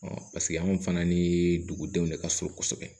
paseke anw fana ni dugudenw de ka surun kosɛbɛ